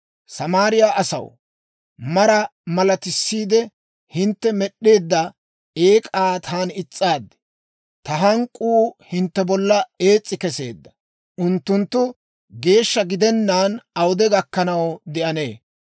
Samaariyaa asaw, mara malatissiide hintte med'd'eedda eek'aa taani is's'aad; ta hank'k'uu hintte bolla ees's'i keseedda. Unttunttu geeshsha gidennaan awude gakkanaw de'anee?